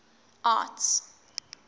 arts